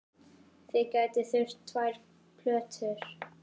Þið gætuð þurft tvær plötur.